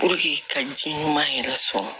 ka ji ɲuman yɛrɛ sɔrɔ